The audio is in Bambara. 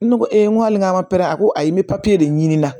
Ne ko e n ko hali n k'a ma a ko ayi n bɛ papiye de ɲini na